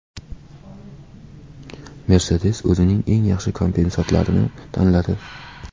Mercedes o‘zining eng yaxshi konseptlarini tanladi .